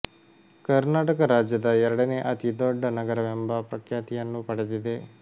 ಕರ್ನಾಟಕ ರಾಜ್ಯದ ಎರಡನೇ ಅತಿ ದೊಡ್ಡ ನಗರವೆಂಬ ಪ್ರಖ್ಯಾತಿಯನ್ನೂ ಪಡೆದಿದೆ